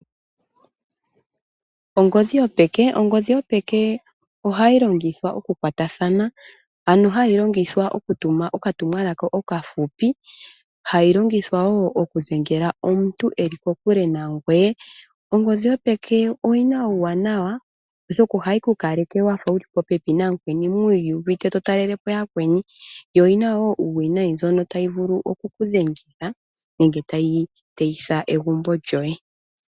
Ongodhi yopeke oha longithwa mekwatathano, ngaashi okutuma uutumwalaka okahupi osho wo okudhengela omuntu ngoka eli kokule. Uuwinayi owo mboka kutya ookalyampombo ohaya longitha oongodhi okuyaka po iinima yaantu mathimbo gamwe.